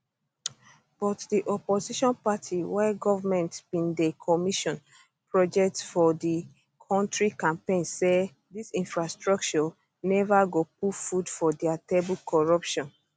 but di opposition party while goment bin dey commission projects for di kontri campaign say dis infrastructure neva go put food for dia table corruption